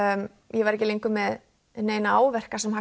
ég var ekki lengur með neina áverka sem